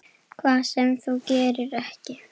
Hvað sem þú gerir, ekki.